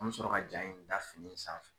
An mi sɔrɔ ka ja in da fini sanfɛ